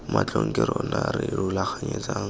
matlhong ke rona re rulaganyetsang